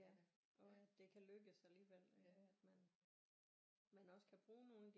Og at det kan lykkes alligevel at man man også kan bruge nogle af de